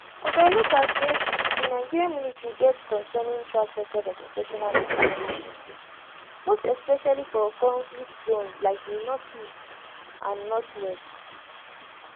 oga olottah say di nigerian military get concerning track record of operational miscalculations most especially for conflict zones like di northeast and northwest